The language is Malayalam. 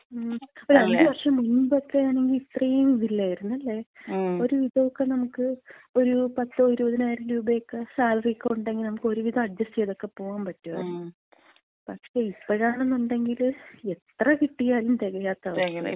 ഒരു അഞ്ചുവർഷം മുമ്പക്ക ആണങ്കി ഇത്രേയും ഇതില്ലായിരുന്ന്, അല്ലേ? ഒരുവിധോക്ക നമുക്ക് ഒരു പത്തോ ഇരുപതിനായിരം രൂപയൊക്കെ സാലറിക്ക ഉണ്ടെങ്കി നമുക്ക് ഒരുവിധം അഡ്ജസ്റ്റ് ചെയ്തൊക്കെ പോകാമ്പറ്റുവാരുന്നു. പക്ഷേ ഇപ്പോഴാണെന്നുണ്ടെങ്കില്, എത്ര കിട്ടിയാലും തെകയാത്ത അവസ്ഥ.